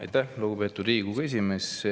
Aitäh, lugupeetud Riigikogu esimees!